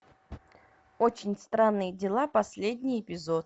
очень странные дела последний эпизод